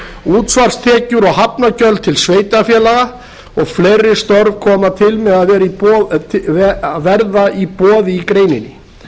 útsvarstekjur og hafnargjöld til sveitarfélaga og fleiri störf koma til með að verða í boði í greininni